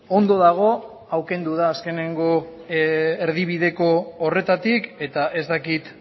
ondo dago hau kendu da azkeneko erdibideko horretatik eta ez dakit